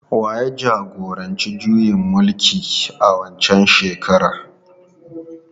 Wa ya jagoranci juyin mulkin a waccan shekarar?